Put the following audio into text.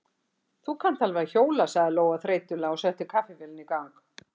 Þú kannt alveg að hjóla, sagði Lóa þreytulega og setti kaffivélina í gang.